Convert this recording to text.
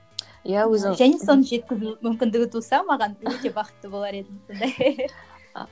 жеткізу мүмкіндігі туса маған өте бақытты болар едім сонда